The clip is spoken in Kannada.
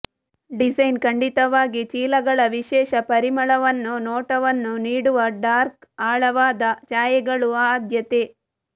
ಡಿಸೈನ್ ಖಂಡಿತವಾಗಿ ಚೀಲಗಳ ವಿಶೇಷ ಪರಿಮಳವನ್ನು ನೋಟವನ್ನು ನೀಡುವ ಡಾರ್ಕ್ ಆಳವಾದ ಛಾಯೆಗಳು ಆದ್ಯತೆ